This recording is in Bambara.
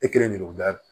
E kelen de bɛ da